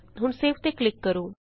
ਹੁਣ ਸੇਵ ਤੇ ਕਲਿਕ ਕਰੋ